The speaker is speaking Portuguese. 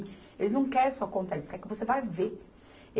Eles não querem só contar, eles querem que você vai ver.